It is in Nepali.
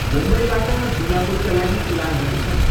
मुम्बईबाट दिमापुरका लागि उडानहरू छन्।